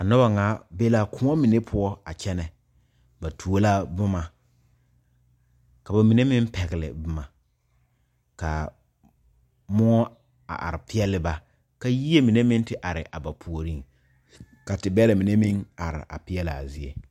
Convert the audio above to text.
A noba kaŋa be la kõɔ mine poɔ a kyɛne ba tuo la boma ka ba mine meŋ pegle boma kaa muo a are pegle ba ka yie mine meŋ te are a ba puori ka te bɛre mine meŋ are a peglaa zie.